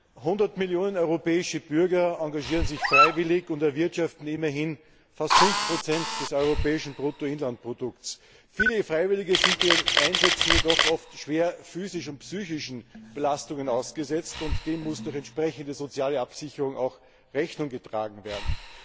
100 Millionen europäische Bürger engagieren sich freiwillig und erwirtschaften immerhin fast 5 des europäischen Bruttoinlandsprodukts. Viele Freiwillige sind bei ihren Einsätzen jedoch oft schweren physischen und psychischen Belastungen ausgesetzt, und dem muss durch entsprechende soziale Absicherung auch Rechnung getragen werden.